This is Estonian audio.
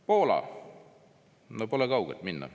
Poola, no pole kaugele minna.